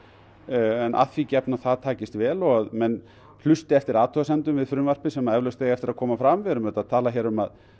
en að því gefnu að það takist vel og menn hlusti eftir athugasemdum við frumvarpið sem eflaust eiga eftir að koma fram við erum auðvitað að tala um að